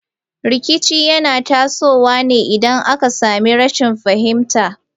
Rikici yana tasowa ne idan aka sami rashin fahimta.